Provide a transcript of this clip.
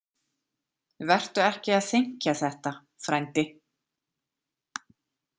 Vertu ekki að þenkja þetta, frændi.